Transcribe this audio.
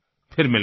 फिर मिलेंगे